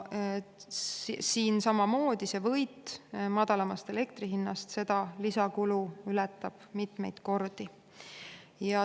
Siin samamoodi see võit madalamast elektri hinnast ületab lisakulu mitmeid kordi.